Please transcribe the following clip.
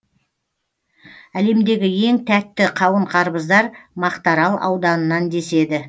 әлемдегі ең тәтті қауын қарбыздар мақтаарал ауданынан деседі